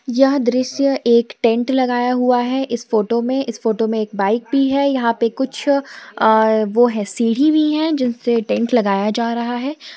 यह दृश्य एक टेंट लगाया हुआ है इस फोटो में इस फोटो में एक बाईक भी है यहां पे कुछ अह वो है सीढ़ी भी हैं जिनसे टेंट लगाया जा रहा है।